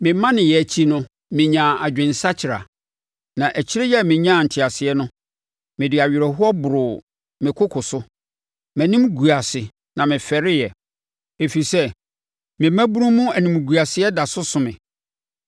Memaneeɛ akyi no, menyaa adwensakyera; na akyire a menyaa nteaseɛ no, mede awerɛhoɔ boroo me koko so. Mʼanim guu ase na mefɛreeɛ ɛfiri sɛ me mmabunu mu animguaseɛ da so so me.’